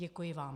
Děkuji vám.